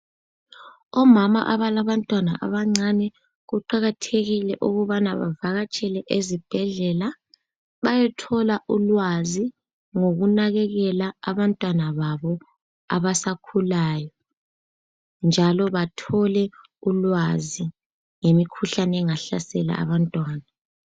Omama abalabantwana abancane kuqakathekile ukubana bavakatshele ezibhedlela .Bayethola ulwazi ngokunakekela abantwana babo abasakhulayo njalo bathole ulwazi ngemikhuhlane engahlasela abantwana.